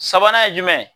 Sabanan ye jumɛn ye